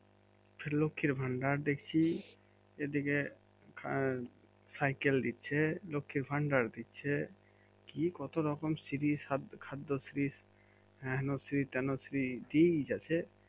লক্ষ্মীর ভাণ্ডার দেখছি এদিকে সাইকেল দিচ্ছে লক্ষ্মী ভাণ্ডার দিচ্ছে কি কত রকম শ্রী খাদ্যশ্রী হেন শ্রী তেন শ্রী দিয়েই যাচ্ছে